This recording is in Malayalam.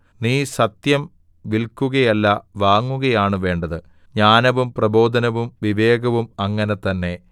നീ സത്യം വില്ക്കുകയല്ല വാങ്ങുകയാണ് വേണ്ടത് ജ്ഞാനവും പ്രബോധനവും വിവേകവും അങ്ങനെ തന്നെ